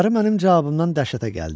Qarı mənim cavabımdan dəhşətə gəldi.